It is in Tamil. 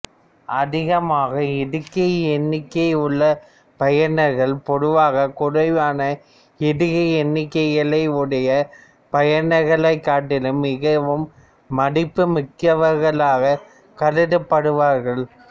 அதிகமான இடுகை எண்ணிக்கை உள்ள பயனர்கள் பொதுவாக குறைவான இடுகை எண்ணிக்கைகள் உடைய பயனர்களைக் காட்டிலும் மிகவும் மதிப்புமிக்கவர்களாகக் கருதப்படுவார்கள்